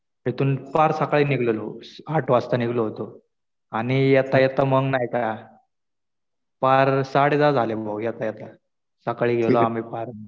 इथून पार सकाळी निघलेलो आठ वाजता निघलो होतो. आणि येता येता मग नाही का पार साडे दहा झाले येता येता. सकाळी गेलो आम्ही पार.